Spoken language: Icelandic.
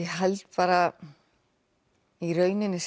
held bara í rauninni